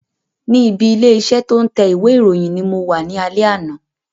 Ni ibi ilé iṣẹ́ to ń tẹ ìwé ìròyìn ni mo wá ní alẹ́ àná